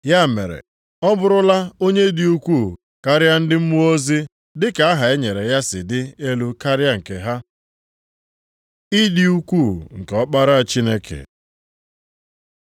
Ya mere, ọ bụrụla onye dị ukwu karịa ndị mmụọ ozi dị ka aha e nyere ya si dị elu karịa nke ha. Ịdị ukwuu nke Ọkpara Chineke